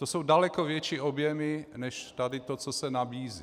To jsou daleko větší objemy než tady to, co se nabízí.